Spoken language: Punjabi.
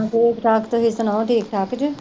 ਹੋਰ ਚਲ ਤੁਸੀਂ ਸੁਣਾਓ ਠੀਕ ਠਾਕ ਜੇ